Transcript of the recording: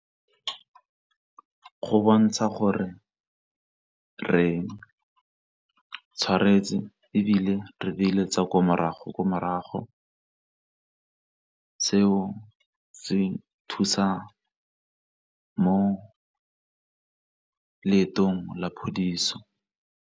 Go bontsha gore re tshwaretse ebile re beile tsa ko morago ko morago, se o se thusa mo leetong la phodiso.